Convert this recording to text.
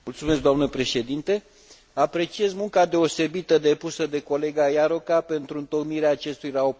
Apreciez munca deosebită depusă de colega Járóka pentru întocmirea acestui raport și o felicit sincer.